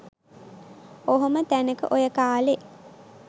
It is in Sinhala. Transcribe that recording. ඔහොම තැනක ඔය කාලේ .